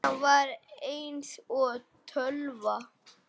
Hann var eins og tölva.